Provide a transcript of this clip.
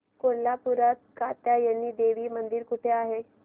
कोल्हापूरात कात्यायनी देवी मंदिर कुठे आहे